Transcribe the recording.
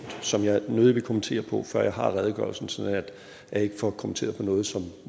som jeg nødig vil kommentere på før jeg har redegørelsen sådan at jeg ikke får kommenteret på noget som